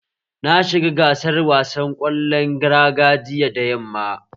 Na shiga gasar wasan ƙwallon raga jiya da yamma